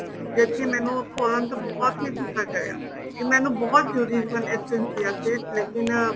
ਜਿਸ ਤੇ ਮੈਨੂੰ ਖੋਲਣ ਤੇ ਬਹੁਤ ਹੀ ਗੁੱਸਾ ਚੜਿਆ ਕੀ ਮੈਨੂੰ ਬਹੁਤ ਜਰੂਰੀ ਚਾਹੀਦੇ ਸੀ chia seeds ਲੇਕਿਨ